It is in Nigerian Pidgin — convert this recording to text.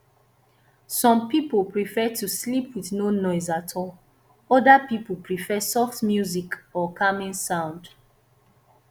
some pipo prefer to sleep with no noise at all oda pipo prefer soft music or calming sound